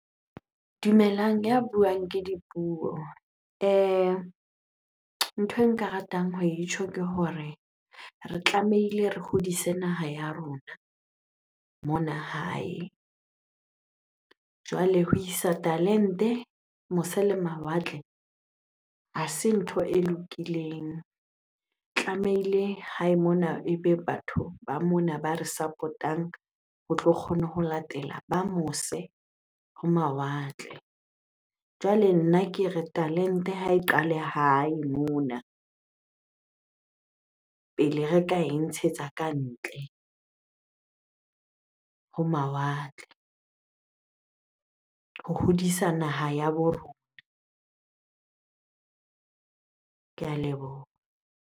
Dumelang, ya buang ke Dipuo. Ntho e nka ratang ho e tjho ke hore re tlamehile re hodise naha ya rona mona hae. Jwale ho isa talente mose le mawatle ha se ntho e lokileng. Tlamehile hae mona ebe batho ba mona ba re support-ang ho tlo kgona ho latela ba mose ho mawatle. Jwale nna ke re talente ha e qale hae mona pele re ka e ntshetsa kantle ho mawatle ho hodisa naha ya bo rona. Ke a leboha.